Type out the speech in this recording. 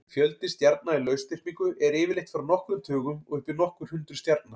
Fjöldi stjarna í lausþyrpingu er yfirleitt frá nokkrum tugum og upp í nokkur hundruð stjarna.